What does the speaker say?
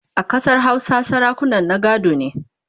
a Ƙasar Hausa sarakunan na gado ne